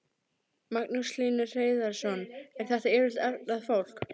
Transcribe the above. Magnús Hlynur Hreiðarsson: Er þetta yfirleitt efnað fólk?